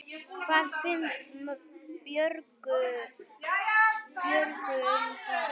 Hvað finnst Björgu um það?